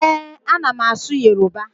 Ee, a na m asụ Yoruba